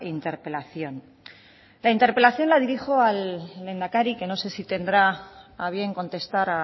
interpelación la interpelación la dirijo al lehendakari que no sé si tendrá a bien contestar